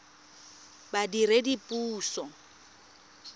badiredipuso